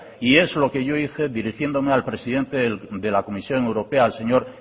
y es lo que yo hice dirigiéndome al presidente de la comisión europea al señor